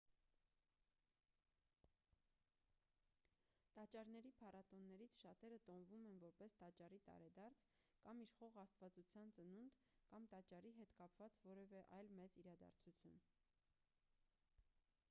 տաճարների փառատոններից շատերը տոնվում են որպես տաճարի տարեդարձ կամ իշխող աստվածության ծնունդ կամ տաճարի հետ կապված որևէ այլ մեծ իրադարձություն